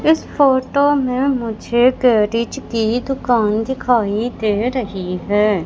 इस फोटो में मुझे गैरीज की दुकान दिखाई दे रहीं हैं।